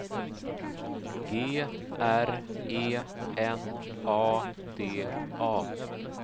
G R E N A D A